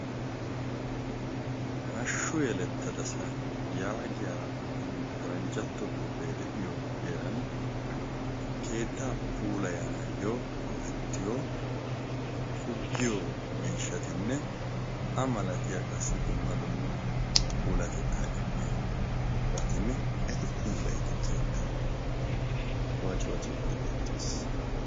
"hashshu yelettadasa" yaagiya faranjjatto xuuphee de7iyo heeran keettaa puulayanaayyo go7ettiyo pugiyo miishshatinne a malatiyaa qassi dumma dumma puulatettaa immiya batinne eti puulayido keettai wacuwaadi beettaas.